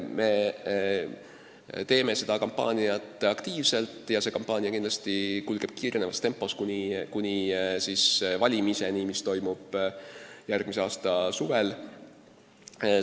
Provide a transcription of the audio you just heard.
Me teeme seda kampaaniat aktiivselt ja see kindlasti kulgeb kiirenevas tempos kuni valimiseni, mis toimub järgmise aasta suvel.